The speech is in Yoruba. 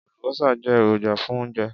Àlùbọ́sà jẹ́ èròjà fún oúnjẹ.